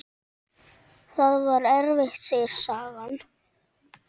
Það var erfitt, segir sagan.